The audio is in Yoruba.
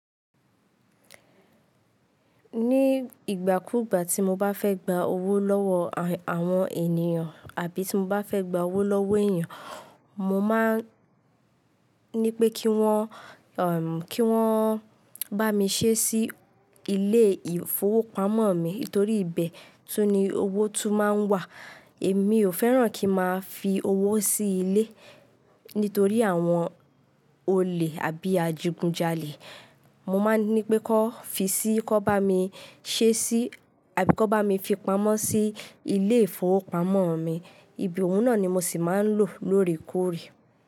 Ní ìgbà kúgbà tí mo bá fẹ́ gba owó lọ́wọ́ àwọn ènìyàn àbí tí mo bá fẹ́ gba owó lọ́wọ́ èèyàn, mo máa ń ní pé kí wọ́n, kí wọ́n bá mi ṣé sí ilé ìfowópamọ́ mi torí ibẹ̀ tun ni owó tún máa ń wà. Èmi ò fẹ́ràn kí n máa fi owó sí ilé nítorí àwọn olè àbí ajigun jalè. Mo máa ń ní pé kó fi sí, kó bá mi ṣé sí àbí kó bá mi fi pamọ́ sí ilé ìfowópamọ́ mi. Ibi òhun náà ni mo sì máa ń lò lóòrèkóòrè.